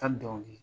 Ka dɔnkili